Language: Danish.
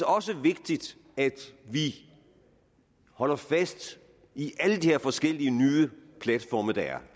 også vigtigt at vi holder fast i alle de her forskellige nye platforme der er